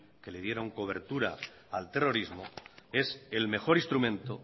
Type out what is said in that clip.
que le dieron cobertura al terrorismo es el mejor instrumento